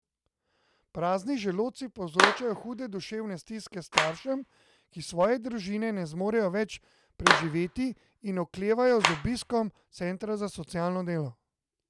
Prazni želodci povzročajo hude duševne stiske staršem, ki svoje družine ne zmorejo več preživeti in oklevajo z obiskom centra za socialno delo.